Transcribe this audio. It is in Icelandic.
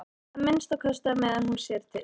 Að minnsta kosti á meðan hún sér til.